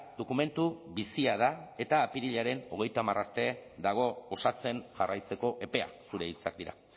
dokumentu bizia da eta apirilaren hogeita hamar arte dago osatzen jarraitzeko epea zure hitzak dira